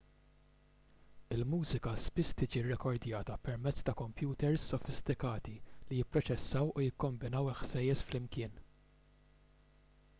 il-mużika spiss tiġi rrekordjata permezz ta' kompjuters sofistikati li jipproċessaw u jikkombinaw il-ħsejjes flimkien